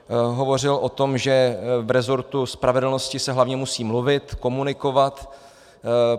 Hovořil o tom, že v rezortu spravedlnosti se hlavně musí mluvit, komunikovat.